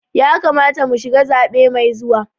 Ya kamata mu shiga zaɓe mai zuwa.